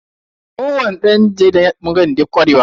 Ko wani dan jarida yana da bangaren da yafi kwarewa.